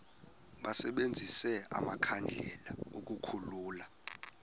basebenzise amakhandlela ukukhulula